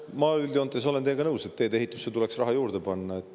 Ma üldjoontes olen teiega nõus, et tee-ehitusse tuleks raha juurde panna.